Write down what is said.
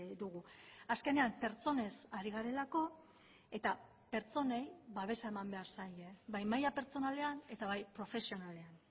dugu azkenean pertsonez ari garelako eta pertsonei babesa eman behar zaie bai maila pertsonalean eta bai profesionalean